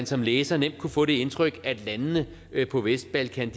så læseren nemt kunne få det indtryk at landene på vestbalkan